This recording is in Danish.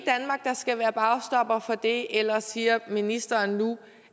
skal være bagstopper for det eller siger ministeren nu